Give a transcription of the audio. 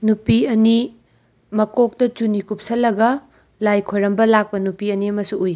ꯅꯨꯄꯤ ꯑꯅꯤ ꯃꯀꯣꯛꯇ ꯆꯨꯅꯤ ꯀꯨꯞꯁꯜꯂꯒ ꯂꯥꯏ ꯈꯨꯔꯝꯕ ꯂꯥꯛꯄ ꯅꯨꯄꯤ ꯑꯅꯤ ꯑꯃꯁꯨ ꯎꯏ꯫